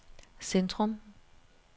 Centrum